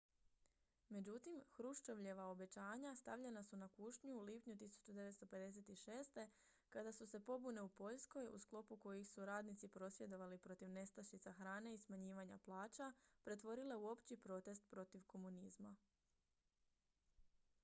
međutim hruščovljeva obećanja stavljena su na kušnju u lipnju 1956. kada su se pobune u poljskoj u sklopu kojih su radnici prosvjedovali protiv nestašica hrane i smanjivanja plaća pretvorile u opći protest protiv komunizma